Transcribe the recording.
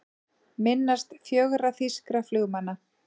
Minnast fjögurra þýskra flugmanna